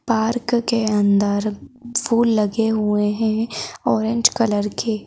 park के अंदर फूल लगे हुए हैं ऑरेंज कलर के--